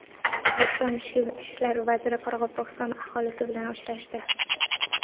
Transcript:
O‘zbekiston ichki ishlar vaziri Qoraqalpog‘iston aholisi bilan uchrashdi.